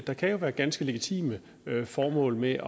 der kan jo være ganske legitime formål med